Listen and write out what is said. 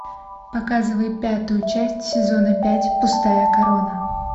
показывай пятую часть сезона пять пустая корона